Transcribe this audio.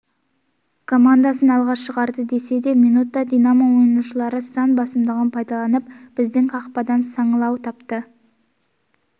командасын алға шығарды десе де минутта динамо ойыншылары сан басымдығын пайдаланып біздің қақпадан саңылау тапты